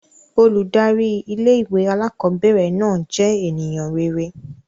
Óludari ìlé-ìwé àlàkọbẹrẹ náà jẹ́ ènìyàn rere.